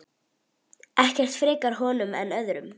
Ekkert frekar honum en öðrum.